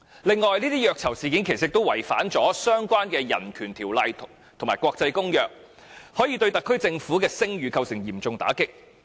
此外，這些虐囚事件也違反了相關的人權條例和國際公約，可以對特區政府的聲譽構成嚴重打擊。